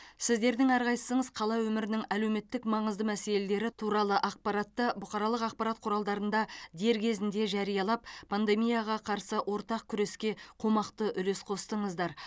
сіздердің әрқайсыңыз қала өмірінің әлеуметтік маңызды мәселелері туралы ақпаратты бұқаралық ақпарат құралдарында дер кезінде жариялап пандемияға қарсы ортақ күреске қомақты үлес қостыңыздар